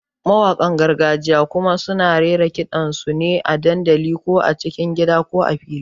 Mawaƙan gargajiya kuma suna raira ƙidan sune a dandali, ko cikin gida ko fili.